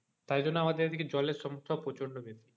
তাই জন্য আমাদের এদিকে জলের সমস্যা প্রচন্ড বেশি,